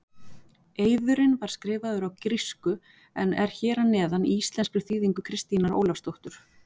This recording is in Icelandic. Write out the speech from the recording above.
Eiðurinn var skrifaður á grísku en er hér að neðan í íslenskri þýðingu Kristínar Ólafsdóttur.